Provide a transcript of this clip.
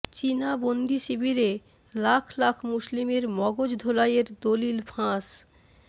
চীনা বন্দিশিবিরে লাখ লাখ মুসলিমের মগজ ধোলাইয়ের দলিল ফাঁস